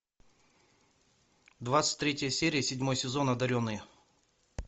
двадцать третья серия седьмой сезон одаренные